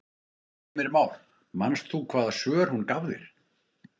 Heimir Már: Manst þú hvaða svör hún gaf þér?